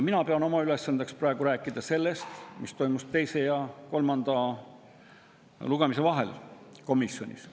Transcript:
Mina pean oma ülesandeks praegu rääkida sellest, mis toimus komisjonis teise ja kolmanda lugemise vahel.